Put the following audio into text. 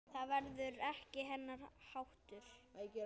Það var ekki hennar háttur.